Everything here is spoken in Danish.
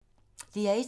DR1